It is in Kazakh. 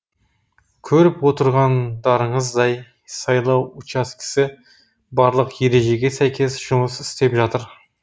көріп отырғандарыңыздай сайлау учаскесі барлық ережеге сәйкес жұмыс істеп жатыр